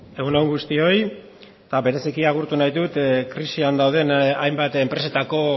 egun on guztioi eta bereziki agurtu nahi dut krisian dauden hainbat enpresetako